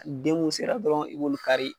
Den mun sera dɔrɔn i bɛ olu kari.